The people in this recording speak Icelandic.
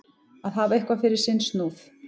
Að hafa eitthvað fyrir sinn snúð